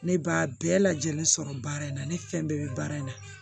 Ne b'a bɛɛ lajɛlen sɔrɔ baara in na ne fɛn bɛɛ bɛ baara in na